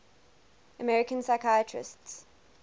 american physicists